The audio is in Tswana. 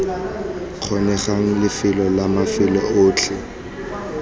kgonegang lefelo la mafelo otlhe